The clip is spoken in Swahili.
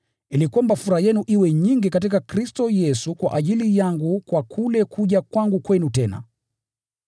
Ili kwamba furaha yenu iwe nyingi katika Kristo Yesu kwa ajili yangu kwa kule kuja kwangu kwenu tena.